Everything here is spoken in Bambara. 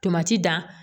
Tomati dan